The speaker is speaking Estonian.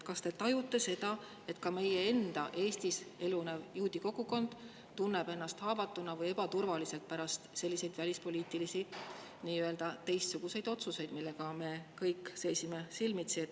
Kas te tajute seda, et ka meie enda Eestis elunev juudi kogukond tunneb ennast haavatuna või ebaturvaliselt pärast selliseid välispoliitilisi, teistsuguseid otsuseid, millega me kõik seisime silmitsi?